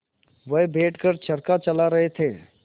वह बैठ कर चरखा चला रहे थे